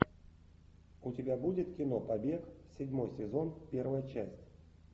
у тебя будет кино побег седьмой сезон первая часть